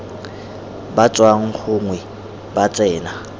ba tswang gongwe ba tsena